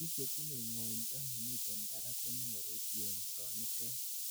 biik chetinyei ngoindo nemitei barak konyoru yengsonitet